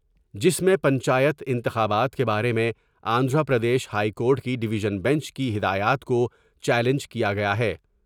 جس میں پنچایت انتخابات کے بارے میں آندھرا پردیش ہائی کورٹ کی ڈیویژن بنچ کی ہدایات کو چیالنج کیا گیا ہے ۔